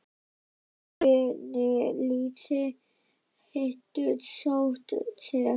En hvernig lýsir hettusótt sér?